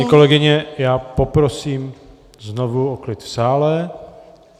Paní kolegyně, já poprosím znovu o klid v sále.